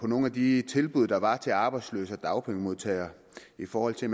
nogle af de tilbud der var til arbejdsløse og dagpengemodtagere i forhold til at